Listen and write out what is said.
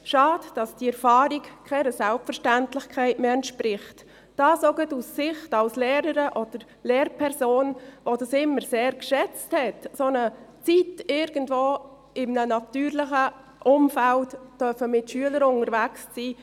Schade, dass diese Erfahrung keiner Selbstverständlichkeit mehr entspricht, dies auch aus Sicht als Lehrerin oder Lehrperson, die dies immer sehr schätzte, während einer solchen Zeit irgendwo in einem natürlichen Umfeld mit Schülern unterwegs sein zu dürfen.